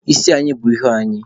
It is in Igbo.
Isi anyị bù ihu anyị